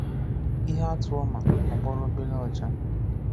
Íhè àtụ́ Òma Ọgbọ́lọ́ Ọ̀bèrè Qchá.